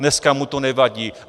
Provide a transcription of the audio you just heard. Dneska mu to nevadí.